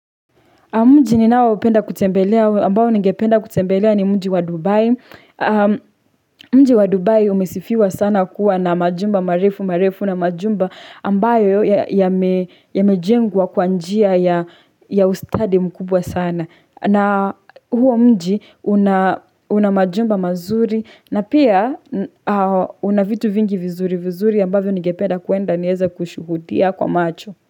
Mji ni nao penda kutembelea, ambao ningependa kutembelea ni mnji wa Dubai. Mnji wa Dubai umesifiwa sana kuwa na majumba, marefu, marefu na majumba ambayo yame jengwa kwanjia ya ustadi mkubwa sana. Na huo mnji unamajumba mazuri na pia unavitu vingi vizuri vizuri ambavyo ningependa kuenda nieze kushuhudia kwa macho.